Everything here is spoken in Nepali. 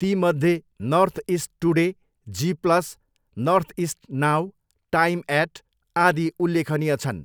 ती मध्ये North East Today, Zee Plus, Northeast Now, Time Eight, आदि उल्लेखनीय छन्।